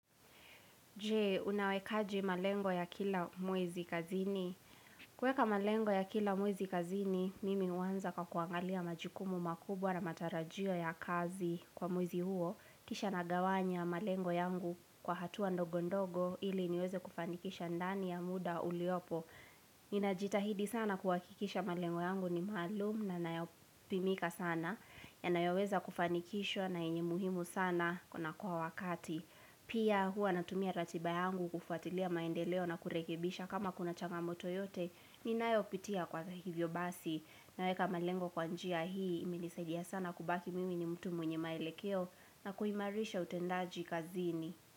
Je, unawekaji malengo ya kila mwezi kazini? Kuweka malengo ya kila mwezi kazini, mimi huanza kwa kuangalia majukumu makubwa na matarajio ya kazi kwa mwezi huo. Kisha nagawanya malengo yangu kwa hatua ndogo ndogo ili niweze kufanikisha ndani ya muda uliopo. Ninajitahidi sana kuhakikisha malengo yangu ni maalum na nayopimika sana. Yanayoweza kufanikishwa na yenye muhimu sana kuna kuwa wakati. Pia hua natumia ratiba yangu kufatilia maendeleo na kurekebisha kama kuna changamoto yote ninayopitia kwa hivyo basi naweka malengo kwa njia hii. Imenisaidia sana kubaki mimi ni mtu mwenye maelekeo na kuimarisha utendaji kazini.